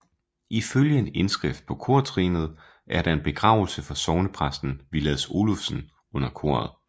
Ifølge en indskrift på kortrinnet er der en begravelse for sognepræsten Villads Olufsen under koret